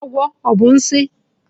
Agwọ ọ bụ nsi?